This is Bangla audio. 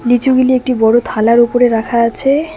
লিচুগুলি একটি বড়ো থালার উপরে রাখা আছে।